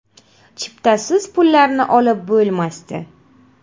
Chiptasiz pullarni olib bo‘lmasdi.